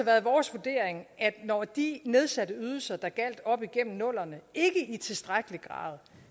været vores vurdering at når de nedsatte ydelser der gjaldt op igennem nullerne ikke i tilstrækkelig grad